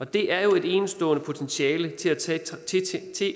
det er jo et enestående potentiale til